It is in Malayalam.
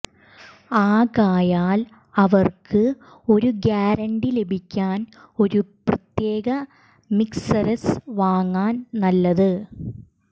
ആകയാൽ അവർക്ക് ഒരു ഗ്യാരന്റി ലഭിക്കാൻ ഒരു പ്രത്യേക മിക്സെര്സ് വാങ്ങാൻ നല്ലതു